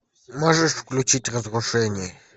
можешь включить разрушение